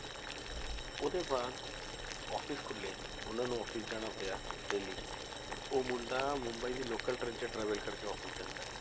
ਉਹਦੇ ਬਾਅਦ office ਖੁੱਲੇ ਉਹਨਾਂ ਨੂੰ office ਜਾਣਾ ਪਿਆ daily ਉਹ ਮੁੰਡਾ ਮੁੰਬਈ ਦੀ local train 'ਚ travel ਕਰਕੇ office ਜਾਂਦਾ ਹੈ,